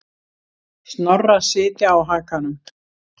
Snorra sitja á hakanum.